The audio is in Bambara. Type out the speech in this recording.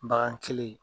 Bagan kelen